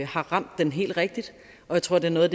har ramt den helt rigtigt og jeg tror det er noget